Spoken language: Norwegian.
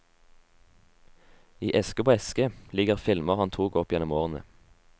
I eske på eske ligger filmer han tok opp gjennom årene.